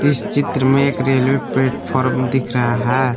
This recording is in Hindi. चित्र में एक रेलवे प्लेटफार्म दिख रहा है।